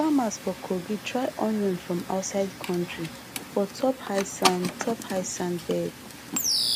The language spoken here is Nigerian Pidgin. farmers for kogi try onion from outside country for top high sand top high sand bed